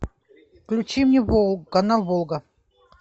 включи мне канал волга